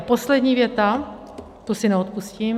A poslední věta, tu si neodpustím.